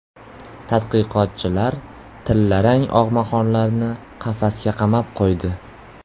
Tadqiqotchilar tillarang og‘maxonlarni qafasga qamab qo‘ydi.